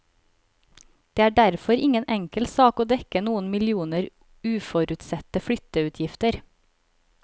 Det er derfor ingen enkel sak å dekke noen millioner uforutsette flytteutgifter.